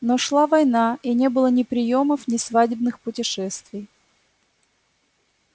но шла война и не было ни приёмов ни свадебных путешествий